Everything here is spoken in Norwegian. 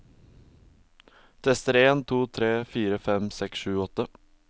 Tester en to tre fire fem seks sju åtte